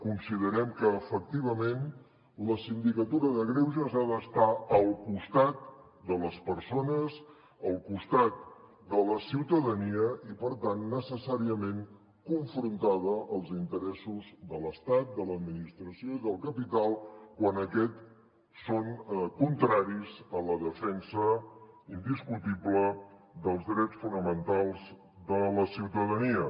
considerem que efectivament la sindicatura de greuges ha d’estar al costat de les persones al costat de la ciutadania i per tant necessàriament confrontada als interessos de l’estat de l’administració i del capital quan aquests són contraris a la defensa indiscutible dels drets fonamentals de la ciutadania